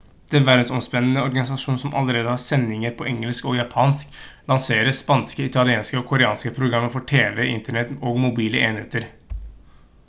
den verdensomspennende organisasjonen som allerede har sendinger på engelsk og japansk lanserer spanske italienske og koreanske programmer for tv internett og mobile enheter